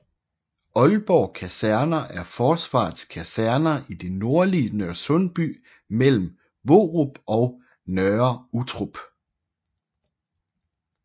Aalborg Kaserner er Forsvarets kaserner i det nordlige Nørresundby mellem Hvorup og Nørre Uttrup